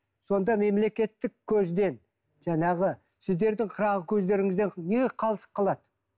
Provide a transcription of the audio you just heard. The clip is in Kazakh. сонда мемлекеттік көзден жаңағы сіздердің қырағы көздеріңізден неге қалыс қалады